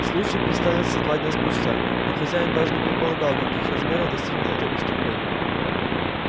случай представится два дня спустя но хозяин даже не предполагал каких размеров достигнет это преступление